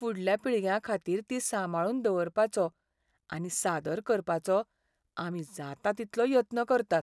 फुडल्या पिळग्यांखातीर तीं सांबाळून दवरपाचो आनी सादर करपाचो आमी जाता तितलो यत्न करतात.